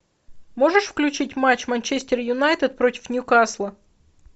можешь включить матч манчестер юнайтед против ньюкасла